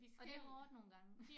Og det hårdt nogle gange